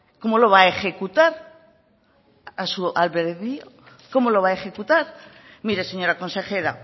cómo lo va a ejecutar a su albedrio cómo lo va a ejecutar mire señora consejera